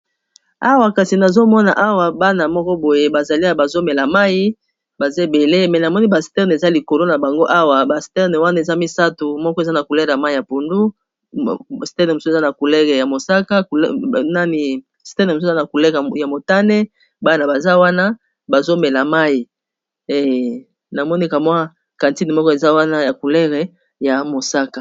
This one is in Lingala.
awa kasi nazomona awa bana moko boye bazaliy bazomela mai bazebele me namoni ba sterne eza likolo na bango awa ba sterne wana eza misato moko eza na culere y mai ya pundu mseza na culere ya mosaka nanisms eza na culere ya motane bana baza wana bazomela mai namoneka mwa kantine moko eza wana ya coulere ya mosaka